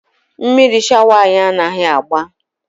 Mmiri shawa anyị anaghị agba.